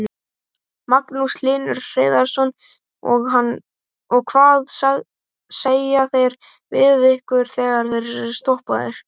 Magnús Hlynur Hreiðarsson: Og hvað segja þeir við ykkur þegar þeir eru stoppaðir?